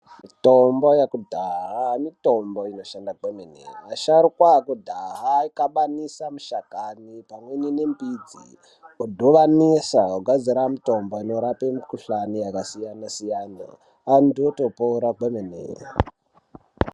Mitombo yakudhaha mitombo inoshanda kwemene. Asharukwa aikudhaha aikabanisa mishakani pamweni nembidzi odhuvanisa ogadzira mutombo inorape mikuhlane yakasiyana-siyana, antu otopora kwemene.